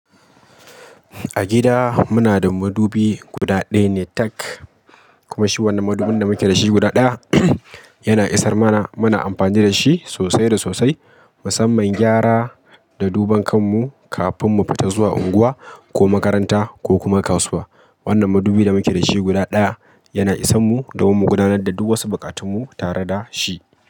A gida muna da madubi guda ɗaya ne tak, kuma shi wanan madubin da muke da shi guda ɗaya yana isar mana. Muna amfani da shi sosai da sosai, musamman gyara da duban kanmu kafin mu fita zuwa unguwa ko makaranta ko kuma kasuwa. Wannan madubin da muke da shi guda ɗaya yana isan mu da mu gudanar da duk wosu buƙatunmu tare da shi.